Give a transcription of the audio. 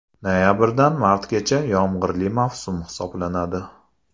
Noyabrdan martgacha yomg‘irli mavsum hisoblanadi.